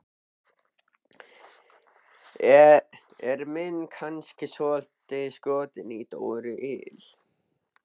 Er minn kannski svolítið skotinn í Dóru il?